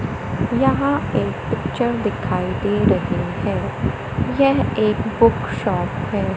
यहां एक पिक्चर दिखाई दे रही है यह एक बुक शॉप है।